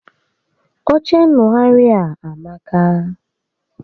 Oche ṅṅụgharị a amaka